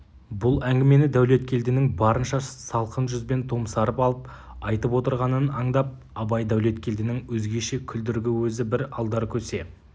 бұл әңгімені дәулеткелдінің барынша салқын жүзбен томсарып алып айтып отырғанын аңдап абай дәулеткелдінің өзгеше күлдіргі өзі бір алдаркөсе